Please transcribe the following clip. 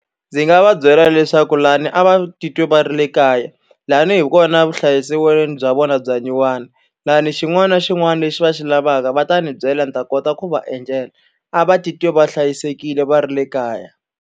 Ndzi nga va byela leswaku lahawani a va titwa va ri le kaya, lahawani hi kona vuhlayiselweni bya vona bya nyuwana, lahawani xin'wana na xin'wana lexi va xi lavaka va ta ni byela ni ta kota ku va endlela. A va titwe va hlayisekile va ri le kaya.